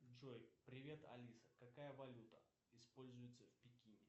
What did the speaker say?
джой привет алиса какая валюта используется в пекине